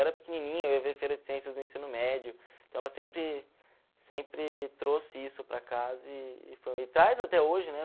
Eu era pequenininho, eu ia ver feira de ciências do ensino médio, então ela sempre sempre trouxe isso para casa e e traz até hoje, né?